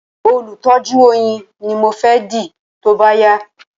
Olùtọ́jú oyin ni mo fẹ́ dì tóbá yá